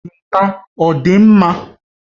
Jinta ọ dị mma?